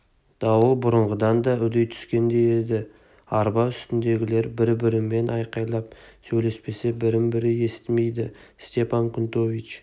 дауыл бұрынғыдан да үдей түскендей еді арба үстіндегілер бір-бірімен айқайлап сөйлеспесе бірін бірі естімейді степан кнутович